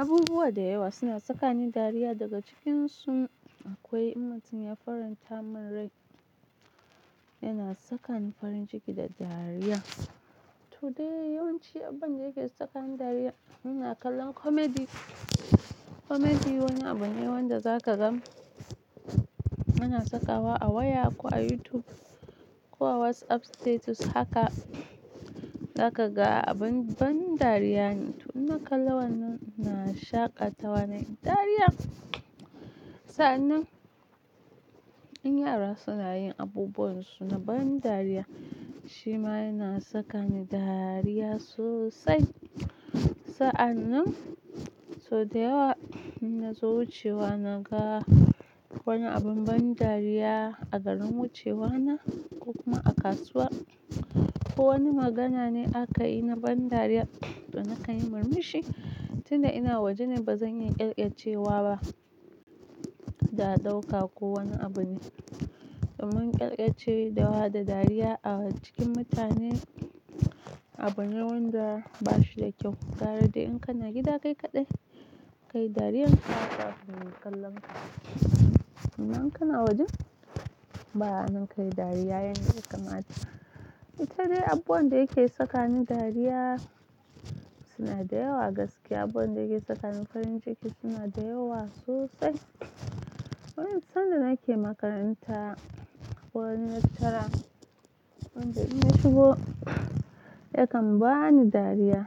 Abubuwa da yawa suna saka ni dariya, daga cikinsu akwai in mutun ya faran tamin rai yana saka ni farin ciki da dariya. To dai, yawanci abunda yake saka ni dariya muna kallon comedy. Comedy wani abu ne wanda zaka gan muna sakawa a waya ko a YouTube ko a WhatsApp status haka zaka ga abun ban dariya ne. To in na kalla wannan ina shaƙatawa nai dariya. Sa'annan in yara suna yin abubuwan su na ban dariya, shi ma yana saka ni dariya sosai. Sa'annan sau da yawa in nazo wucewa na ga wani abun ban dariya a garin wucewa na ko kuma a kasuwa ko wani magana ne aka yi na ban dariya to na kan yi murmushi tun da ina waje ne bazan iya kyalkyacewa ba kada aɗauka ko wani abu ne. Domin ƙyalƙyacewa da wa da dariya a cikin mutane abu ne wanda bashi da kyau. Kare dai in kana gida kai kaɗai, kayi dariya haka kafin mu kalanka. Nan kana wajen, ba'a nan kayi dariya yan da ya kamata ita dai abubuwan da yake saka ni dariya suna da yawa gaskiya. Abubuwan da yake saka ni farin ciki suna da yawa sosai. Wani sanda nake makaranta, wani lecturer wanda idan ya shigo yakan bani dariya